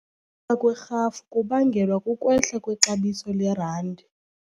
ka kwerhafu kubangelwa kukwehla kwexabiso lerandi.